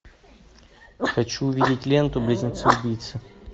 хочу увидеть ленту близнецы убийцы